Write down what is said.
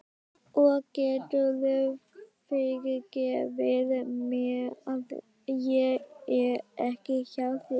Og geturðu fyrirgefið mér að ég er ekki hjá þér?